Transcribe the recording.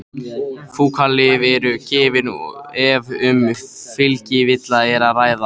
Fúkalyf eru gefin ef um fylgikvilla er að ræða.